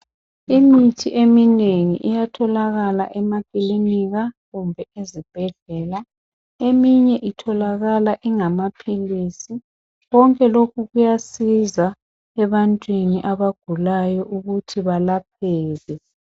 Imithi eminengi iyatholakala emakilinika kumbe ezibhedlela. Eminye itholakala ingamaphilisi. Konke lokhu kuyasiza ebantwini abagulayo ukuthi belapheke.